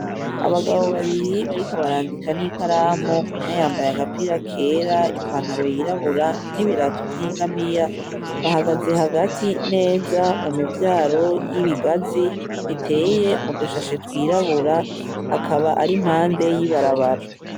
Abagabo babiri bariko barandika nikaramu umwe yambaye agapira kera i pantalo yirabura nibirato vyingamiya bahagaze hagati neza mu mivyaro yibigazii iteye mu dushashe twirabura akaba ari impande y'ibarabara.